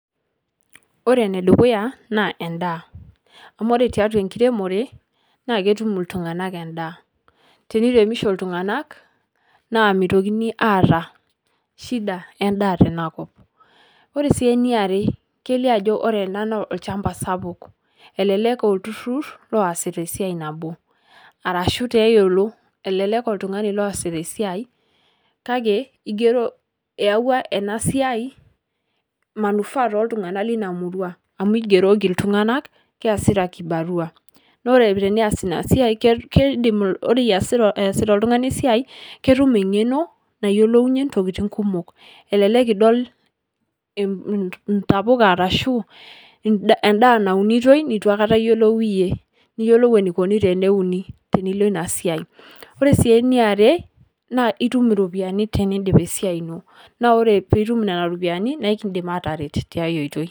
Ore ene dukuya naa endaa amu ore tiatua enkiremore naake etum iltung'anak endaa, teniremisho iltung'anak naa mitokini aata shida endaa tena kop. Ore sii eniare kelio ajo ore ena naa olchamba sapuk elelek aa olturur looasita esiai nabo arashu tiaiolo elelek aa oltung'ani loasita esiai kake igero eyauwa ena siai manufaa tooltung'anak lina murua amu igeroki iltung'anak keasita kibarua. Naa ore tenias ina siai ke keidim ore iasita easita oltung'ani esiai ketum eng'eno nayolounye ntokitin kumok elelek idol inta intapuka ashu end endaa naunitoi nitu akata iyolou iyie niyolou enikoni teneuni tenilo ina siai. Ore sii eniare naa itum iropiani teniindip esiai ino, naa ore piitum nena ropiani nae kiindim aataret tiai oitoi.